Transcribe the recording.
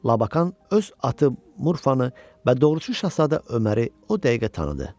Labakan öz atı Murfanı və doğurçu Şahzadə Öməri o dəqiqə tanıdı.